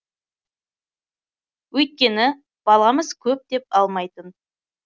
өйткені баламыз көп деп алмайтын